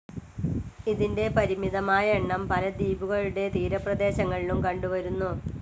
ഇതിന്റെ പരിമിതമായ എണ്ണം പല ദ്വീപുകളുടെ തീരപ്രദേശങ്ങളിലും കണ്ടുവരുന്നു.